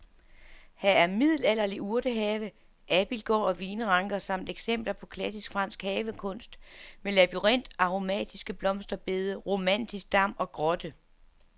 Her er middelalderlig urtehave, abildgård og vinranker samt eksempler på klassisk fransk havekunst med labyrint, aromatiske blomsterbede, romantisk dam og grotte.